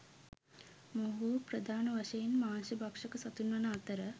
මොවුහු ප්‍රධාන වශයෙන් මාංශ භක්ෂක සතුන් වන අතර